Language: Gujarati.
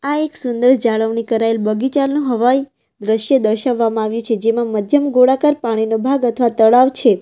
આ એક સુંદર જાળવણી કરેલ બગીચાનો હવાઈ દ્રશ્ય દર્શાવવામાં આવી છે જેમાં મધ્યમ ગોળાકાર પાણીનો ભાગ અથવા તળાવ છે.